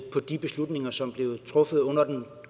på de beslutninger som blev truffet under den